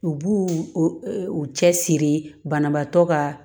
U b'u u cɛsiri banabaatɔ ka